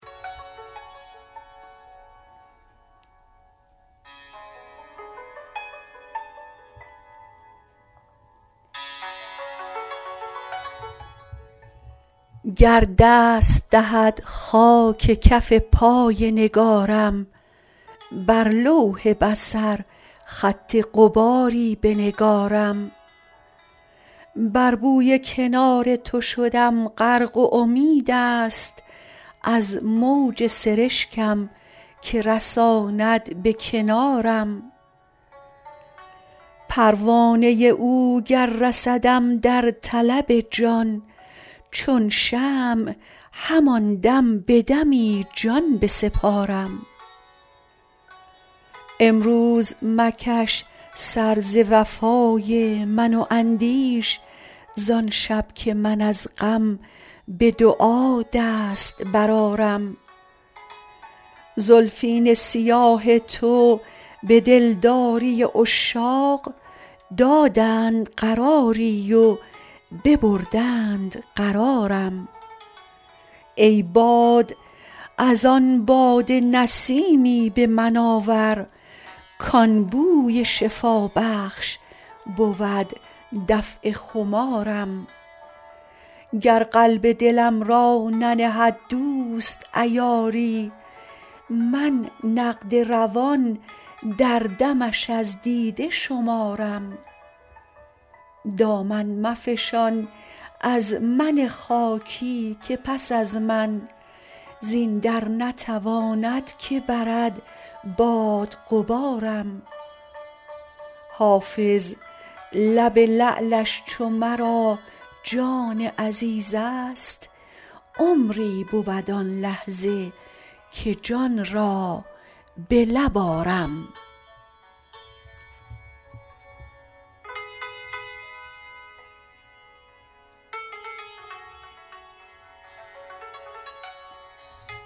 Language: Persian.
گر دست دهد خاک کف پای نگارم بر لوح بصر خط غباری بنگارم بر بوی کنار تو شدم غرق و امید است از موج سرشکم که رساند به کنارم پروانه او گر رسدم در طلب جان چون شمع همان دم به دمی جان بسپارم امروز مکش سر ز وفای من و اندیش زان شب که من از غم به دعا دست برآرم زلفین سیاه تو به دلداری عشاق دادند قراری و ببردند قرارم ای باد از آن باده نسیمی به من آور کان بوی شفابخش بود دفع خمارم گر قلب دلم را ننهد دوست عیاری من نقد روان در دمش از دیده شمارم دامن مفشان از من خاکی که پس از من زین در نتواند که برد باد غبارم حافظ لب لعلش چو مرا جان عزیز است عمری بود آن لحظه که جان را به لب آرم